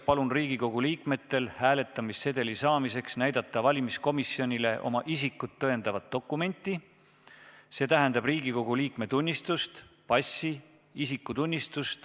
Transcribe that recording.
Palun Riigikogu liikmetel hääletamissedeli saamiseks näidata valimiskomisjonile oma isikut tõendavat dokumenti .